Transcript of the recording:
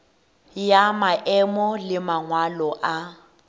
ya maemo le mangwalo a